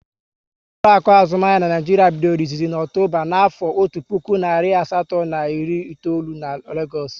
Ụlọakụ azụmahịa n'Naijiria bidoro izizi na Ọktoba na afo ọtu puku narị asatọ na iri itoolu n'Legoosu